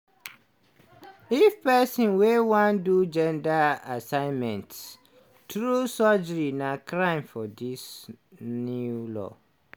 if pesin wey wan do gender assignment through surgery na crime for dis new law